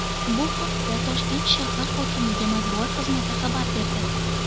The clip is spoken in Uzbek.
Bu haqda Toshkent shahr hokimligi matbuot xizmati xabar berdi.